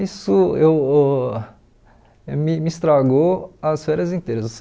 Isso eu uh me me estragou as férias inteiras.